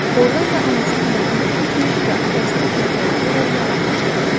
Ordan da anasının bətninə keçmiş və atasını təkrar edərək yaranmışdı.